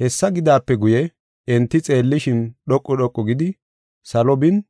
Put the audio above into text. Hessa gidaape guye enti xeellishin, dhoqu dhoqu gidi, salo bin,